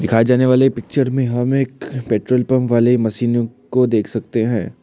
जाने वाले पिक्चर में हम एक पेट्रोल पंप वाले मशीनों को देख सकते हैं।